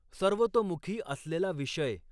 सर्वतोमुखी असलेला विषय